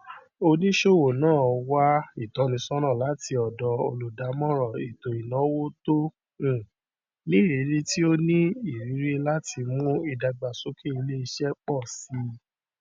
oníṣòwò náà wá ìtọnísọnà láti ọdọ olùdámọràn ètòìnàwó tó um nírìrí tí ó ní irírí láti mú ìdàgbàsókè iléiṣẹ pọ síi